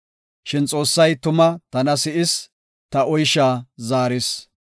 Shin Xoossay tuma tana si7is; ta oysha zaaris.